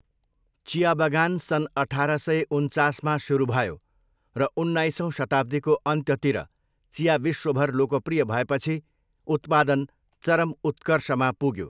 चिया बगान सन् अठार सय उन्चासमा सुरु भयो र उन्नाइसौँ शताब्दीको अन्त्यतिर चिया विश्वभर लोकप्रिय भएपछि उत्पादन चरम उत्कर्षमा पुग्यो।